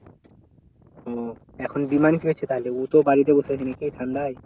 ও এখন বিমালের কি হয়েছে তাহলে ও তো বাড়িতে বসে আছে নাকি ঠাণ্ডায়?